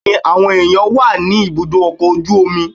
Bẹ́ẹ̀ni, àwọn èèyàn wà ní ibùdó ọkọ̀ ojú omi